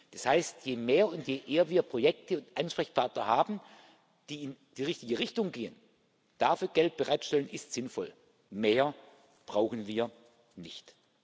Das heißt, je mehr und je eher wir Projekte und Ansprechpartner haben, die in die richtige Richtung gehen dafür Geld bereitzustellen, ist sinnvoll. Mehr brauchen wir nicht.